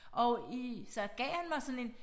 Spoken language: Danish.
Og i så gav han mig sådan en